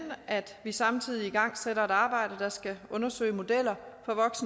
at vi samtidig igangsætter et arbejde der skal undersøge modeller